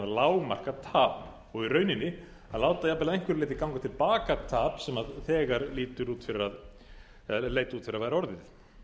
lágmarka tap og í rauninni að láta jafnvel að einhverju leyti ganga til baka tap sem þegar leit út fyrir að væri orðið